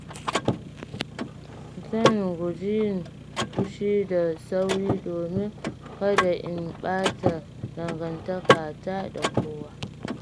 Zan guji yin fushi da sauri domin kada in ɓata dangantakata da wasu.